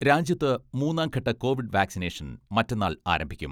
രാജ്യത്ത് മൂന്നാം ഘട്ട കോവിഡ് വാക്സിനേഷൻ മറ്റന്നാൾ ആരംഭിക്കും.